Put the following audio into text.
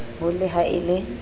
ho le ha e le